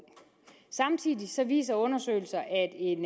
samtidig viser undersøgelser at en